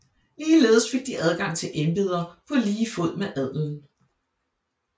Ligeledes fik de adgang til embeder på lige fod med adelen